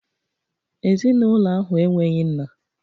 Ezinụlọ ahụ enweghị nna